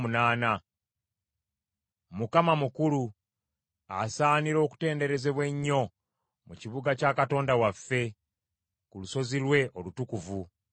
Mukama mukulu, asaanira okutenderezebwa ennyo mu kibuga kya Katonda waffe, ku lusozi lwe olutukuvu.